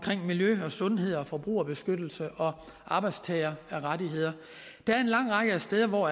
miljø sundhed forbrugerbeskyttelse og arbejdstagerrettigheder der er en lang række steder hvor